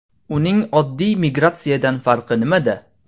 Uning oddiy migratsiyadan farqi nimada?